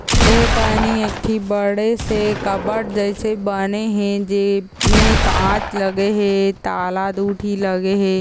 एकनि एक ठी बड़े से कप्बर्ड जइसे बने हे जेमे काँच लगे हे ताला दो ठी लगे हे।